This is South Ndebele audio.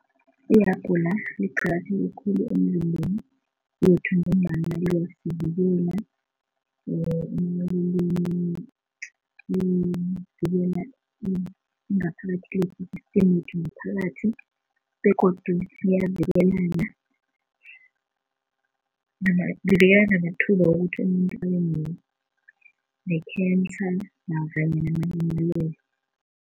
Ihabhula liqakatheke khulu emzimbeni yethu ngombana liyasivikela livikela ingaphakathi lethu i-system yethu ngaphakathi begodu liyavikelana livikela namathuba wokuthi umuntu abene-cancer